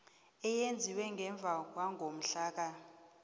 eyenziwe ngemva kwangomhlaka